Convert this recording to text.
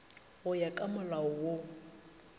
go ya ka molao wo